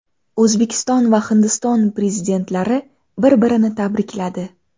O‘zbekiston va Hindiston prezidentlari bir-birini tabrikladi.